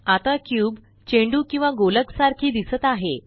आता क्यूब चेंडू किंवा गोलक सारखी दिसत आहे